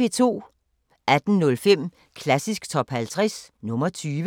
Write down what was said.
18:05: Klassisk Top 50 – nr. 20